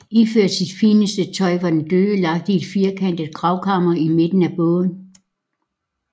Iført sit fineste tøj var den døde lagt i et firkantet gravkammer i midten af båden